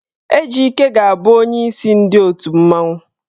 Ejike ga-abụ onyeisi ndị otù mmanwụ.